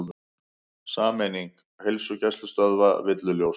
Sameining heilsugæslustöðva villuljós